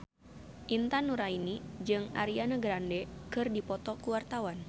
Intan Nuraini jeung Ariana Grande keur dipoto ku wartawan